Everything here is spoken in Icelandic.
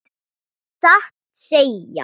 Satt að segja.